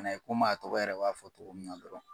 komi a tɔgɔ yɛrɛ b'a fɔ cogo min dɔrɔn